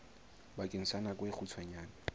bakeng sa nako e kgutshwane